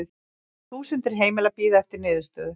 Þúsundir heimila bíði eftir niðurstöðu